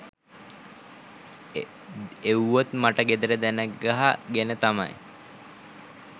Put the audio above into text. එව්වොත් මට ගෙදර දනගහ ගෙන තමයි